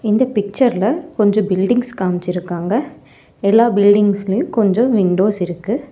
இந்த பிக்சர் ல கொஞ்சோ பில்டிங்ஸ் காமிச்சுருக்காங்க எல்லா பில்டிங்ஸ் லையும் கொஞ்சோ விண்டோஸ் இருக்கு.